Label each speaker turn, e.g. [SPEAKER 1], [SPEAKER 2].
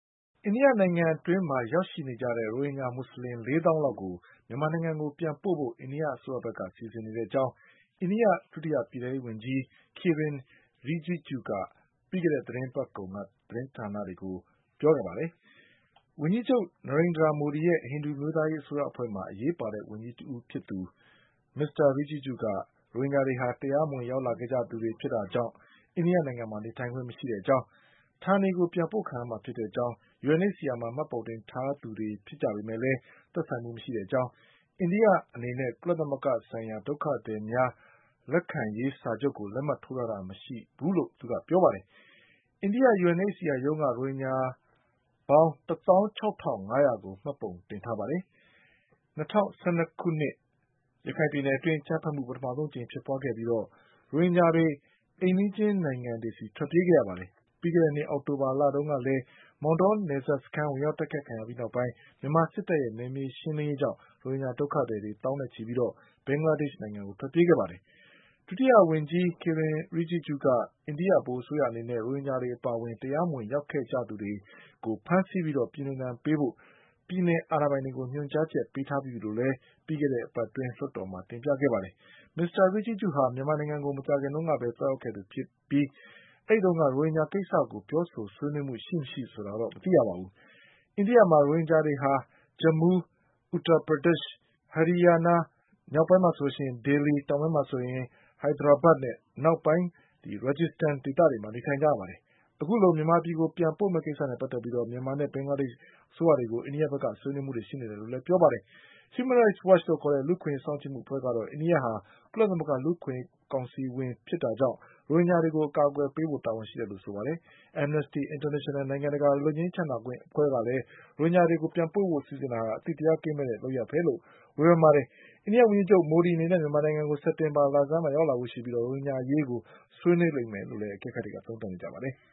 [SPEAKER 1] အိန္ဒိယနိုင်ငံအတွင်းရောက်ရှိနေကြတဲ့ ရိုဟင်ဂျာမွတ်ဆလင် ၄သောင်းလောက်ကို မြန်မာနိုင်ငံကို ပြန်ပို့ဖို့ အိန္ဒိအစိုးရက စီစဉ်နေတဲ့အကြောင်း အိန္ဒိယဒုတိယပြည်ထဲရေးဝန်ကြီး Kiren Rijijuက ပြီးခဲ့တဲ့သီတင်းပတ်ကုန်က သတင်းဌာနတွေကို ပြောပါတယ်။ ဝန်ကြီးချုပ် နာရိန်ဒြာမိုဒီရဲ့ ဟိန္ဒူအမျိုး သားရေးအစိုးရအဖွဲ့မှာ အရေးပါတဲ့ဝန်ကြီးတဦးဖြစ်သူ မစ္စတာ Rijiju က ရိုဟင်ဂျာတွေဟာ တရားမဝင်လာရောက်ခဲ့ ကြသူတွေဖြစ်တာကြောင့် အိန္ဒိယမှာနေထိုင်ခွင့်မရှိကြောင်း၊ ဌာနေ ကိုပြန်ပို့ခံရမှာဖြစ်ကြောင်း၊ UNHCR မှာ မှတ်ပုံတင် ထားသူတွေဖြစ်ပေမဲ့ မသက်ဆိုင်ကြောင်း၊ အိန္ဒိယအနေနဲ့ ကုလသ မဂ္ဂဆိုင်ရာ ဒုက္ခသည်များလက်ခံရေးစာချုပ်ကို လက်မှတ် ရေးထိုးထားတာမရှိကြောင်း သူကပြောပါတယ်။ အိန္ဒိယ UNH CR ရုံးက ရိုဟင်ဂျာပေါင်း ၁သောင်း၆ထောင့် ၅ရာကို မှတ်ပုံတင်ထားပါတယ်။ ၂၀၁၂ခု ရခိုင်ပြည်နယ်အတွင်း အကြမ်း ဘက်မှု ပထမအကြိမ်ဖြစ်ပွါးပြီး ရိုဟင်ဂျာတွေ အိမ်နီးချင်းနိုင်ငံတွေဆီ ထွက်ပြေးခဲ့ကြပါတယ်။ ပြီးခဲ့တဲ့နှစ် အောက်တိုဘာ လတုန်းကလည်း မောင်တောနယ်စပ်စခန်း ဝင်ရောက်တိုက်ခိုက်ခံရပြီးနောက်ပိုင်း မြန်မာစစ်တပ်ရဲ့ နယ်မြေရှင်းလင်းရေး ကြောင့်ရိုဟင်ဂျာဒုက္ခသည် သောင်းနဲ့ချီ ပြီး ဘင်္ဂလားဒေ့ရှ်ကို ထွက်ပြေးခဲ့ကြပါတယ်။ ဒုတိယဝန်င်္ကြီး Kiren Rijijuက အိန္ဒိဗဟိုအစိုးရအနေနဲ့ ရိုဟင်ဂျာတွေအပါ အဝင် တရားမဝင်ရောက်နေကြသူတွေကို ဖမ်းဆီးပြီးပြည်နှင်ဒဏ်ပေးဖို့ ပြည်နယ်အာဏာပိုင်တွေကို ညွှန်ကြားချက်ပေး ထားပြီးပြီလို့ ပြီးခဲ့တဲ့အပတ်အတွင်း လွှတ်တော်မှာ တင်ပြခဲ့ပါတယ်။မစ္စတာ Rijiju ဟာ မြန်မာနိုင်ငံကို မကြာခင်ကပဲ သွားရောက်ခဲ့သူဖြစ်ပေမဲ့ အဲဒီတုန်းက ရိုဟင်ဂျာကိစ္စကို ပြောဆိုဆွေး နွေးမှုရှိမရှိတော့ မသိရပါဘူး။ အိန္ဒိယမှာ ရိုဟင်ဂျာ တွေဟာ Jammu, Uttarpradesh, Haryanaနဲ့ မြောက်ပိုင်းမှာ Delhi တောင်ပိုင်းမှာ Hyderabad အနောက်ပိုင်းမှာ Rajasthan ဒေသတွေမှာ နေထိုင်ကြပါတယ်။ အခုလို မြန်မာပြည်ကိုပြန်ပို့ မယ့်ကိစ္စနဲ့ပတ်သက်ပြီး မြန်မာနဲ့ ဘင်္ဂလားဒေ့ရှ်အစိုးရတွေကို အိန္ဒိယဘက်ကဆွေးနွေးနေတယ်လို့ဆိုပါတယ်။ Human rights Watch လူ့အခွင့်အရေးစောင့်ကြည့်မှု အဖွဲ့ကတော့ အိန္ဒိယဟာ ကုလသမဂ္ဂလူ့အခွင့်အရေးကောင်စီဝင်ဖြစ်တာ ကြောင့် ရိုဟင်ဂျာတွေကို အကာအကွယ်ပေးဖို့ တာဝန်ရှိတယ်လို့ဆိုပါတယ်။ Amnesty International နိုင်ငံတကာ လွတ်ငြိမ်းချမ်းသာခွင့်အဖွဲ့ကလည်း ရိုဟင်ဂျာတွေကို ပြန်ပို့ဖို့စီစဉ်တာဟာ အသိတရားကင်းမဲ့တဲ့လုပ်ရပ်ပဲလို့ ဝေဖန်ပါ တယ်။ အိန္ဒိယဝန်ကြီးချုပ် မိုဒီအနေနဲ့ မြန်မာနိုင်ငံကို စက်တင်ဘာလဆန်းမှာ ရောက်လာဖို့ရှိပြီး ရိုဟင်ဂျာအရေးဆွေး နွေးလိမ့်မယ်လို့လည်း အကဲခတ်တွေက သုံးသတ်ကြပါတယ်။